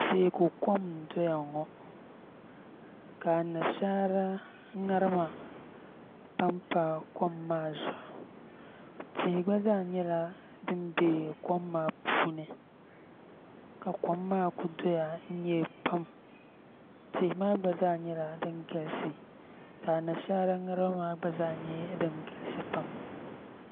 Teeku kom n-dɔya ŋɔ ka anashaara ŋarima pampa kom maa zuɣu tihi gba zaa nyɛla din be kom maa puuni ka kom maa ku dɔya n-nyɛ pam tihi maa gba zaa nyɛla din galisi ka anashaara ŋarima maa gba zaa nyɛ din galisi pam